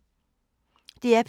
DR P2